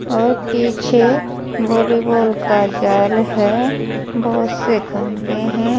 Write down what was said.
और पीछे वॉलीबॉल का जाल है बहुत से खंभे हैं।